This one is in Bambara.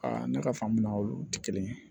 ne ka faamu na olu tɛ kelen ye